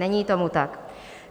Není tomu tak.